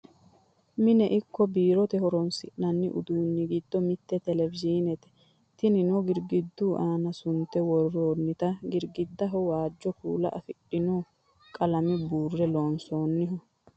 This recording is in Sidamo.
mine ikko biirote horonsi'nanni uduunni giddo mitte televizhinnete tinino girgidu aana sunte worroonnite girgidduno waajjo kuula afidhino qalame buurre loonsoonniho